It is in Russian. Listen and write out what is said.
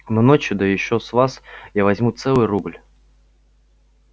но ночью да ещё с вас я возьму целый рубль